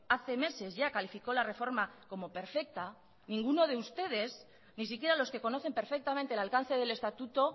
hace meses ya calificó la reforma como perfecta ninguno de ustedes ni siquiera los que conocen perfectamente el alcance del estatuto